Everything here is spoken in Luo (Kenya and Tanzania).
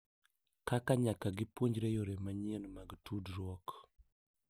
Kaka nyaka gipuonjre yore manyien mag tudruok